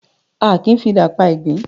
Àki ń fi idà pá igbin